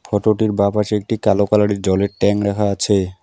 ফোটোটির বাঁ পাশে একটি কালো কালারের জলের ট্যাঙ্ক রাখা আছে।